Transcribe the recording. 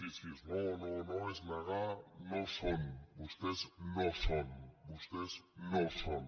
sí sí és no no no és negar no són vostès no són vostès no són